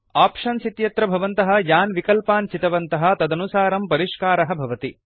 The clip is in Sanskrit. आप्शन्स् इत्यत्र भवन्तः यान् विकल्पान् चितवन्तः तदनुसारं परिष्कारः भवति